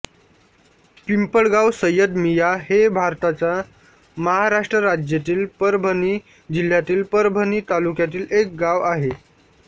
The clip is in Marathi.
पिंपळगाव सय्यदमिया हे भारताच्या महाराष्ट्र राज्यातील परभणी जिल्ह्यातील परभणी तालुक्यातील एक गाव आहे